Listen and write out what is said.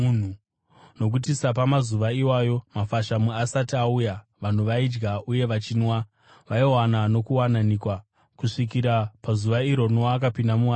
Nokuti sapamazuva iwayo mafashamu asati auya, vanhu vaidya uye vachinwa, vaiwana nokuwanikwa kusvikira pazuva iro Noa akapinda muareka,